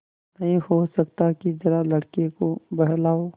नहीं हो सकता कि जरा लड़के को बहलाओ